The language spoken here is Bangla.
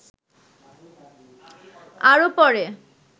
আরো পরে